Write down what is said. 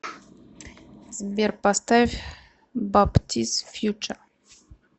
сбер поставь баптиз фьюче